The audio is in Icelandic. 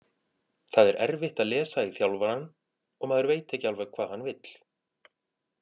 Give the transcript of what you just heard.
Það er erfitt að lesa í þjálfarann og maður veit ekki alveg hvað hann vill.